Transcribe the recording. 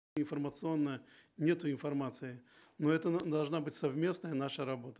информационная нету информации но это должна быть совместная наша работа